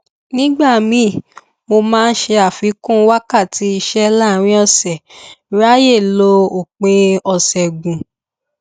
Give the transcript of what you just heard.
nígbà míì mo máa ṣe àfikún wákàtí iṣẹ láàárín ọsẹ ráyè lo òpin ọsẹ gùn